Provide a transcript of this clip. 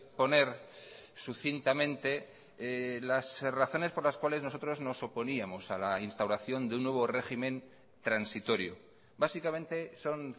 poner sucintamente las razones por las cuales nosotros nos oponíamos a la instauración de un nuevo régimen transitorio básicamente son